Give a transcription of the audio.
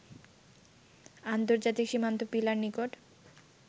আন্তর্জাতিক সীমান্ত পিলার নিকট